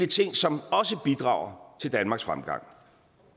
ting som også bidrager til danmarks fremgang